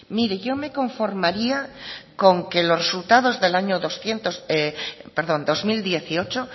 mire yo me conformaría con que los resultados del año dos mil dieciocho